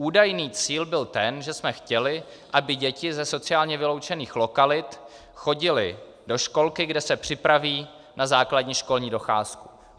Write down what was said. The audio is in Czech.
Údajný cíl byl ten, že jsme chtěli, aby děti ze sociálně vyloučených lokalit chodily do školky, kde se připraví na základní školní docházku.